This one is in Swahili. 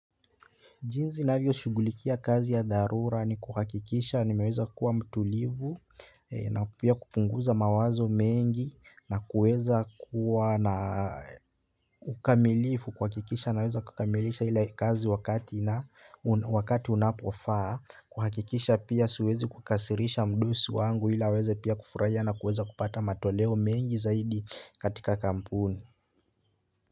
Jinsi ninavyo shugulikia kazi ya dharura ni kuhakikisha nimaweza kuwa mtulivu, na pia kupunguza mawazo mengi, na kueza kuwa na ukamilifu kuhakikisha, naweza kukamilisha ile kazi wakati wakati unapofaa, kuhakikisha pia siwezi kukasirisha mdosi wangu ili aweze pia kufurahia na kueza kupata matoleo mengi zaidi katika kampuni.